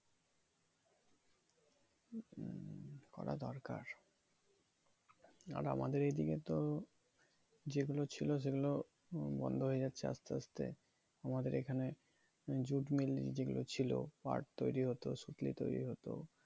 মমম করা দরকার আমাদের এদিকে তো যেগুলো ছিল সেগুলো বন্ধ হয়ে যাচ্ছে আস্তে আস্তে আমাদের এখানে jute mill যেগুলো ছিল পাট তৈরী হতো শুকিয়ে তৈরী হতো